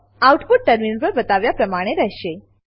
output terminal પર બતાવ્યા પ્રમાણે રહેશે